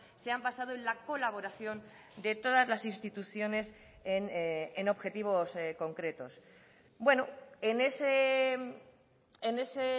se han basado en la colaboración de todas las instituciones en objetivos concretos bueno en ese